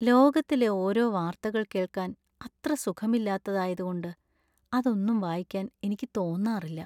ലോകത്തിലെ ഓരോ വാർത്തകൾ കേൾക്കാൻ അത്ര സുഖമില്ലാത്തതായത് കൊണ്ട് അതൊന്നും വായിക്കാൻ എനിക്ക് തോന്നാറില്ല.